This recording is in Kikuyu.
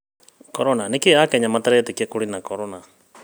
Corona; nĩkĩĩ akenya mataretĩkia atĩ kũrĩ na Corona